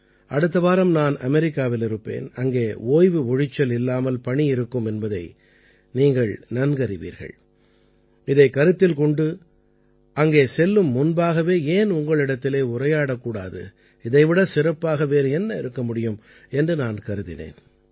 அடுத்த வாரம் நான் அமெரிக்காவில் இருப்பேன் அங்கே ஓய்வு ஒழிச்சல் இல்லாமல் பணி இருக்கும் என்பதை நீங்கள் நன்கறிவீர்கள் இதைக் கருத்தில் கொண்டு அங்கே செல்லும் முன்பாகவே ஏன் உங்களிடத்திலே உரையாடக் கூடாது இதை விடச் சிறப்பாக வேறு என்ன இருக்க முடியும் என்று நான் கருதினேன்